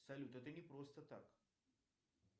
салют это не просто так